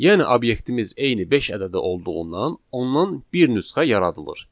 Yəni obyektimiz eyni beş ədədi olduğundan ondan bir nüsxə yaradılır.